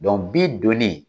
donnen